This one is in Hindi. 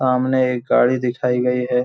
सामने एक गाड़ी दिखाई गई हैं।